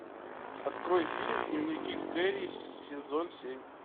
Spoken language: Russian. открой фильм дневники кэри сезон семь